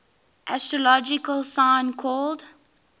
astrological sign called